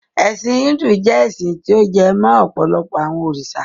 Ẹ̀sin Híndù jẹ́ ẹ́sin ti ó jẹ mó ọ̀pọ̀lọpọ àwọn òrìṣà.